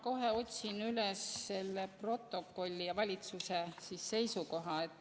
Ma kohe otsin üles selle protokolli ja valitsuse seisukoha.